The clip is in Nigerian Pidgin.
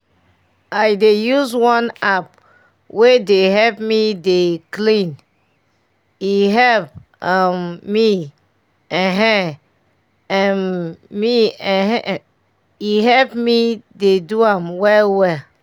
i dey use one app wey dey help me dey dey clean e help um me[um][um] me[um]e help me dey do am well well